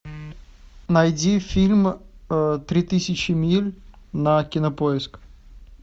найди фильм три тысячи миль на кинопоиск